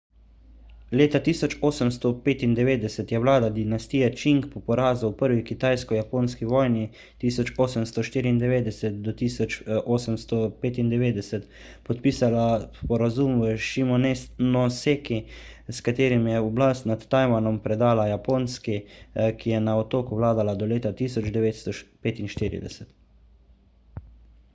leta 1895 je vlada dinastije čing po porazu v prvi kitajsko-japonski vojni 1894–1895 podpisala sporazum v šimonoseki s katerim je oblast nad tajvanom predala japonski ki je na otoku vladala do leta 1945